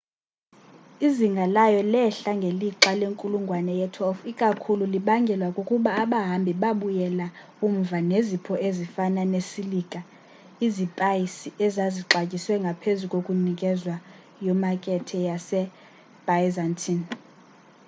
izinga layo lehla ngelixa lenkulungwane ye-12 ikakhulu libangelwa kukuba abahambi babuyela umva nezipho ezifana nesilika izipaysi ezazixatyiswe ngaphezu kokunikezwa yomakethe ye byzantine